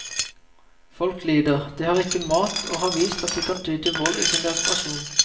Folk lider, de har ikke mat og har vist at de kan ty til vold i sin desperasjon.